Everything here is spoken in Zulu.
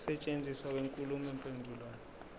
ukusetshenziswa kwenkulumo mpendulwano